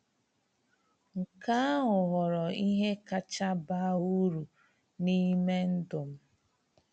Nke ahụ ghọrọ ihe kacha baa uru n’ime ndụ m.